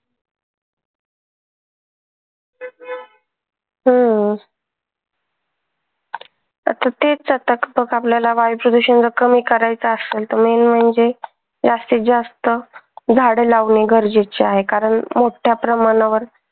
हम्म. आता तेच आपल्याला आता जर वायू प्रदूषण जर कमी करायचं असेल तर main म्हणजे जास्तीत जास्त झाडं लावणे गरजेचे आहे कारण मोठ्ठ्या प्रमाणावर